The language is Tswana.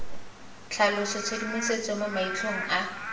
tlhalosa tshedimosetso mo maitlhomong a